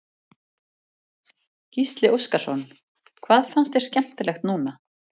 Gísli Óskarsson: Hvað fannst þér skemmtilegt núna?